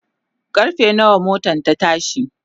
karfe nawa motan ta tashi?